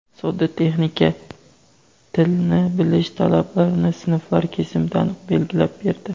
sodda texnika "tili"ni bilish talablarini sinflar kesimida aniq belgilab berdi.